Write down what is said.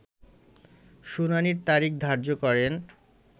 শুনানির তারিখ ধার্য করেন